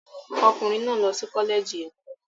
Ọkùnrin náà lọ sí Kọ́lẹ́ẹ̀jì Ẹ̀kọ́.